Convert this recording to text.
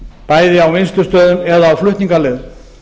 bæði á vinnslustöðum eða á flutningaleiðum